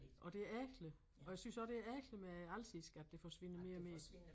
Og det ærgerligt og jeg synes også det ærgerligt med alsisk at det forsvinder mere og mere